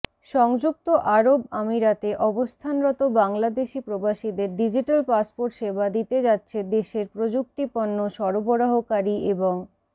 সংযুক্ত আরব আমিরাতে অবস্থানরত বংলাদেশি প্রবাসীদের ডিজিটাল পাসপোর্ট সেবা দিতে যাচ্ছে দেশের প্রযুক্তিপণ্য সরবরাহকারী এবং